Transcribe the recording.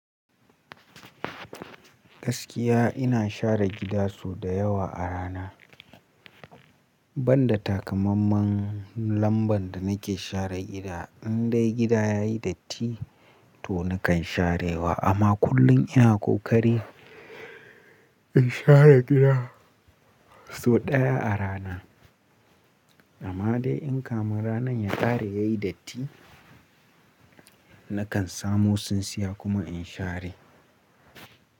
Gaskiya ina share gida sau da yawa a rana, ban da takamamman lamban da nake share gida. In dai gida yayi datti to nakan sharewa, amma kullum ina kokari in share gida sau ɗaya a rana. Amma dai in kamun ranan ya ƙare yayi datti, nakan samo tsintsiya kuma in share.